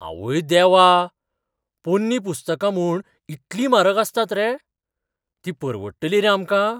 आवय देवा! पोरणीं पुस्तका म्हूण इतली म्हारग आसतात रे? तीं परवडटलीं रे आमकां?